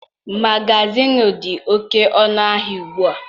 Magazịịnụ dị oké ọnụ ahịa ugbu a.